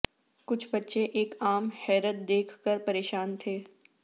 کچھ بچے ایک عام حیرت دیکھ کر پریشان تھے